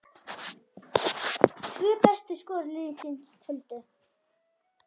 Tvö bestu skor liðsins töldu.